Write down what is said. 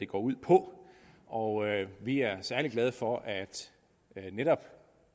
går ud på og vi er særlig glade for at netop